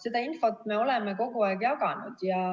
Seda infot me oleme kogu aeg jaganud.